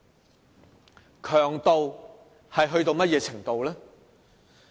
那種強度到了甚麼程度呢？